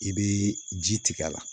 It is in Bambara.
I bɛ ji tigɛ a la